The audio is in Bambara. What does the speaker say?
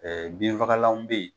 Ɛɛ binfagalanw bɛ yen